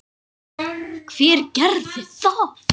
Hver gerði það?